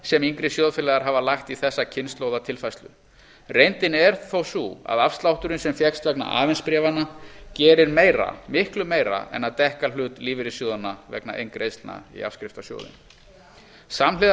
sem yngri sjóðfélagar hafa lagt í þessa kynslóðatilfærslu reyndin er þó sú að afslátturinn sem fékkst vegna avens bréfanna gerir meira miklu meira en að dekka hlut lífeyrissjóðanna vegna inngreiðslna í afskriftasjóðinn samhliða